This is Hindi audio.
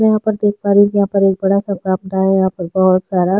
यहाँ पर देख पा रहै है यहाँ पर एक बड़ा सा बारंदा है यहाँ पर बहोत सारा--